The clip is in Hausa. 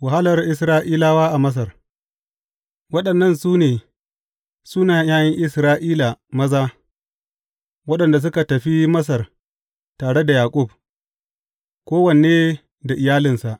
Wahalar Isra’ilawa a Masar Waɗannan su ne sunayen ’ya’yan Isra’ila maza, waɗanda suka tafi Masar tare da Yaƙub; kowanne da iyalinsa.